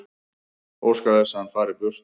Óska þess að hann fari burt.